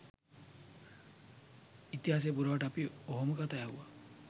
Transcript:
ඉතිහාසය පුරාවට අපි ඔහොම කතා ඇහුවා